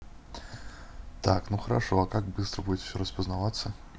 так ну хорошо а как быстро будет всё распознаваться